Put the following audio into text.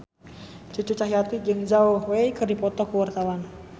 Cucu Cahyati jeung Zhao Wei keur dipoto ku wartawan